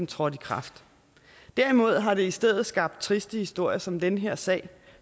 trådte i kraft derimod har det i stedet skabt triste historier som den her sag